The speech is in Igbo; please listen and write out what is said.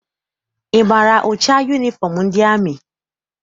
Ị maara ụcha yunifọm ndị amị?